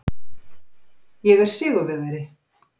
Ég er sigurvegari.